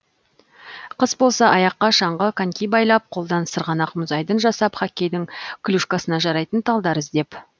қыс болса аяққа шаңғы коньки байлап қолдан сырғанақ мұз айдын жасап хоккейдің клюшкасына жарайтын талдар іздеп